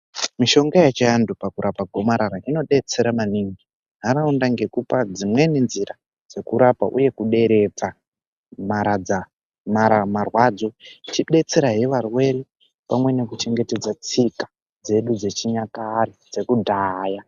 Mishonga yechiantu pakurapa gomarara inodetsera maningi nharaunda nekupa dzimweni nzira dzekurapa uye kuderedza marwadzi ichidestera zvevarwere netsika dzedu dzechinyakare dzekudhaya.